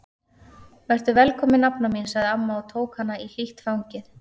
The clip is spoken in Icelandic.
Vertu velkomin nafna mín sagði amma og tók hana í hlýtt fangið.